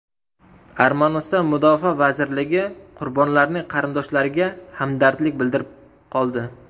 Armaniston mudofaa vazirligi qurbonlarning qarindoshlariga hamdardlik bildirib qoldi.